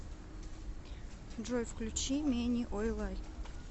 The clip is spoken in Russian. джой включи мени ойлай